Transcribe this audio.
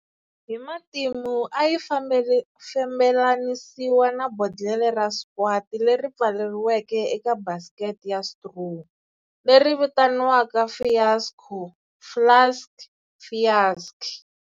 Hi matimu ayi fambelanisiwa na bodlhela ra squat leri pfaleriweke eka basket ya straw, leri vitaniwaka fiasco, flask-fiaschi.